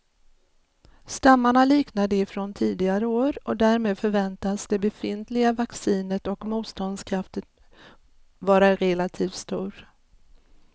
Stammarna liknar de från tidigare år och därmed förväntas det befintliga vaccinet och motståndskraften vara relativt stor.